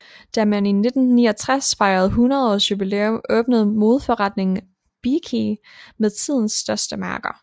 Da man i 1969 fejrede 100 års jubilæum åbnede modeforretningen Bee Cee med tidens største mærker